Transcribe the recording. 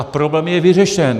A problém je vyřešen.